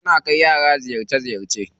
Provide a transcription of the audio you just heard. Suna kai yara ziyarce ziyarce.